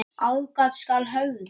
Aðgát skal höfð.